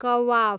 कवाफ